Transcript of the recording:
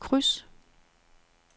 kryds